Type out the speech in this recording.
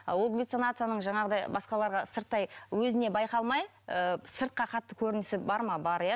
ал ол галлюцинацияның жаңағыдай басқаларға сырттай өзіне байқалмай ы сыртқа қатты көрінісі бар ма бар иә